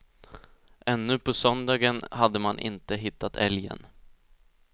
Ännu på söndagen hade man inte hittat älgen.